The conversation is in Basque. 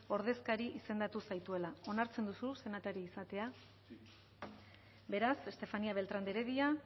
ordezkari izan zaituela onartzen duzu senatari izatea beraz estefanía beltrán de heredia